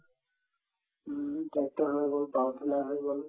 উম, tractor হৈ গল power tiller হৈ গল